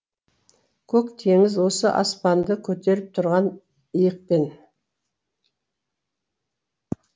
көк теңіз осы аспанды көтеріп тұрған иықпен